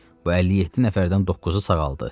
Bu 57 nəfərdən doqquzu sağaldı.